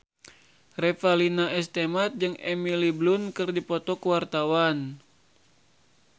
Revalina S. Temat jeung Emily Blunt keur dipoto ku wartawan